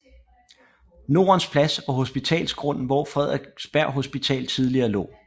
Nordens Plads og Hospitalsgrunden hvor Frederiksberg Hospital tidligere lå